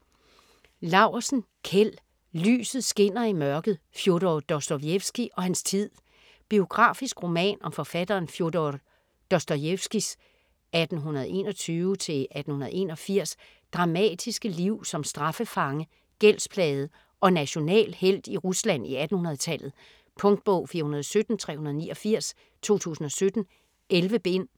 Laursen, Kjeld: Lyset skinner i mørket: Fjodor Dostojevskij og hans tid Biografisk roman om forfatteren Fjodor Dostojevskijs (1821-1881) dramatiske liv som straffefange, gældsplaget og national helt i Rusland i 1800-tallet. Punktbog 417389 2017. 11 bind.